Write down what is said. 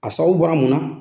A sababuw bɔra munna na?